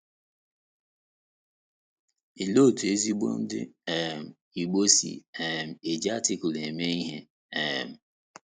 Olee otú ezigbo Ndị um Igbo si um eji Artikụlụ eme ihe? um